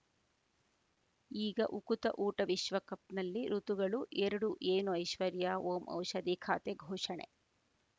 ಈಗ ಉಕುತ ಊಟ ವಿಶ್ವಕಪ್‌ನಲ್ಲಿ ಋತುಗಳು ಎರಡು ಏನು ಐಶ್ವರ್ಯಾ ಓಂ ಔಷಧಿ ಖಾತೆ ಘೋಷಣೆ